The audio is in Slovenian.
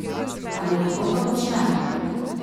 Ali lahko to počnem?